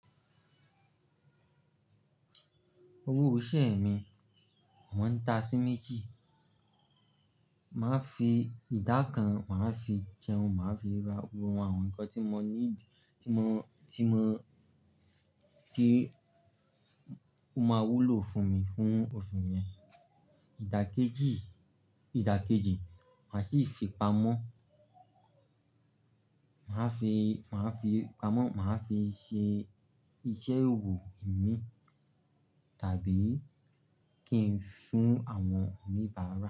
Owó ìṣe mi, won da sí méjì. Màá fi ìdá kan, màá fi jẹun, màá fi ra gbogbo àwọn nǹkan tí mọ need tí mọ, tí mọ pé ó máa wúlò fún mi fún oṣù yẹn. Ìdá kejì, ìdá kejì, màá sì fi pamọ́. Màá fi, màá fi pamọ́, màá fi ṣe iṣẹ́ òwò mi tàbí kí n fún àwọn oníbàárà.